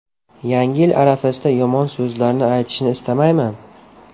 Yangi yil arafasida yomon so‘zlarni aytishni istamayman.